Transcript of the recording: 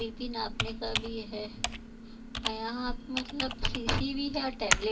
BP नापने का भी है और यहाँ मतलब भी है टैबलेट --